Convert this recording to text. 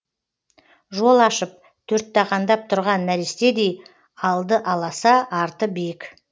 жол ашып төрттағандап тұрған нәрестедей алды аласа арты биік